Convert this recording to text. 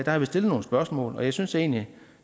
har vi stillet nogle spørgsmål og jeg synes egentlig